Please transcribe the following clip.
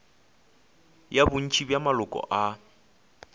ya bontši bja maloko a